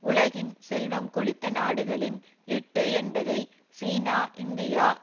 உலகின் செல்வம் கொழித்த நாடுகளின் எட்டு என்பதை சீனா இந்தியா